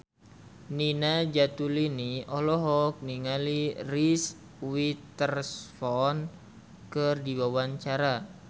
Nina Zatulini olohok ningali Reese Witherspoon keur diwawancara